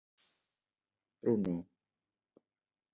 Bruno